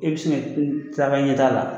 E bɛ se ka tila a ka ɲɛtaa la